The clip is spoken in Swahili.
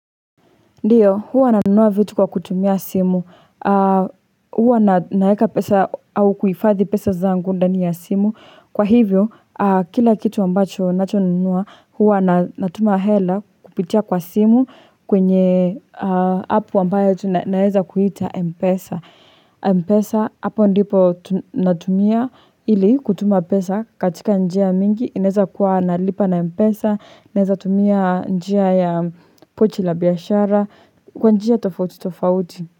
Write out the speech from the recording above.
Ndiyo, huwa nanunua vitu kwa kutumia simu, huwa naweka pesa au kuhifadhi pesa zangu ndani ya simu. Kwa hivyo, kila kitu ambacho ninachonunua, huwa natuma hela kupitia kwa simu kwenye apu ambayo naweza kuita Mpesa. Mpesa, hapo ndipo natumia ili kutuma pesa katika njia mingi, inaweza kuwa nalipa na Mpesa, nawezatumia njia ya pochi la biashara kwa njia tofauti tofauti.